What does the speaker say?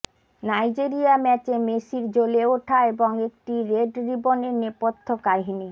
Nigeria ম্যাচে মেসির জ্বলে ওঠা এবং একটি রেড রিবনের নেপথ্য কাহিনি